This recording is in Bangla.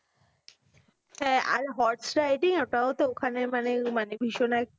হ্যাঁ, আর horse riding এ ওটাও তো ওখানে মানে মানে ভীষণ একটা